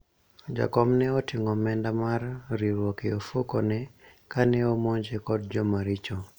jakom ne oting'o omenda mar riwruok e ofuku ne kane omonje kod jomaricho